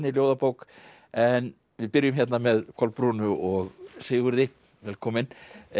ljóðabók en við byrjum með Kolbrúnu og Sigurði velkomin